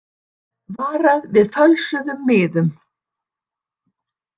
Varað við fölsuðum miðum